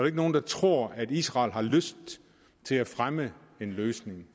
ikke nogen der tror at israel har lyst til at fremme en løsning